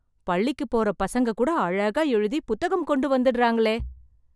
பள்ளிக்குப் போற பசங்க கூட அழகா எழுதி, புத்தகம் கொண்டு வந்துடறாங்களே..